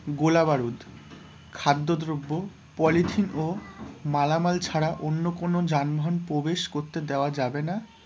গোলাবারুদ, খাদ্যদ্রব্য, পলিথিন ও মালামাল ছাড়া অন্য কোনো যানবাহন প্রবেশ করতে দেওয়া যাবে না,